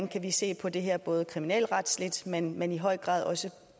kan se på det her både kriminalretsligt men men i høj grad også